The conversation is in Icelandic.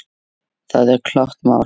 Það er klárt mál.